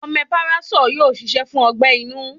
Omeparasóò yóò ṣiṣẹ́ fún ọgbẹ́-inú.